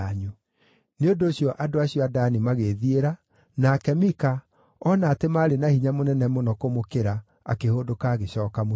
Nĩ ũndũ ũcio andũ acio a Dani magĩĩthiĩra, nake Mika, ona atĩ maarĩ na hinya mũnene mũno kũmũkĩra, akĩhũndũka agĩcooka mũciĩ.